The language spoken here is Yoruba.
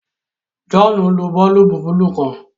John nlò boolubu buluu kán